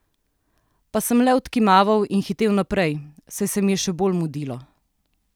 Pa sem le odkimaval in hitel naprej, saj se mi je še bolj mudilo.